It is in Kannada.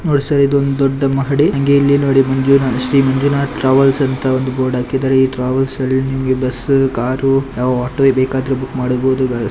ನೋಡಿ ಸರ್ ಇದೊಂದು ದೊಡ್ಡ ಮಹಡಿ ಹಂಗೆ ಇಲ್ಲಿ ನೋಡಿ ಮಂಜುನಾಥ್ ಶ್ರೀ ಮಂಜುನಾಥ ಟ್ರಾವೆಲ್ಸ್ ಅಂತ ಒಂದು ಬೋರ್ಡ್ ಹಾಕಿದ್ದಾರೆ. ಈ ಟ್ರಾವೆಲ್ಸ್ ಅಲ್ಲಿ ನಿಮಗೆ ಬಸ್ಸು ಕಾರು ಯಾವ್ ಆಟೋ ಬೇಕಾದ್ರೂ ಬುಕ್ ಮಾಡಬೋದು.